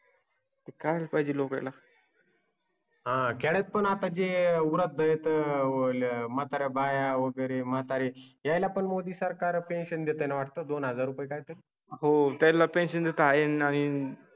काय पाहिजे लोकायला? हा कॅच पण आता जे उपलब्ध आहेतः मात्रा बाऱ्या वगैरे म्हातारे यायला पण मोदी सरकार पेन्शन देताना वाटतं दोन हजार काय? हो त्याला पेन्शन देता येणार नाही